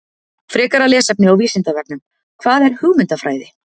Frekara lesefni á Vísindavefnum: Hvað er hugmyndafræði?